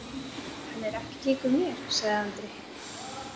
Hann er ekkert líkur mér, sagði Andri.